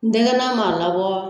Ni denkɛman m'a labɔ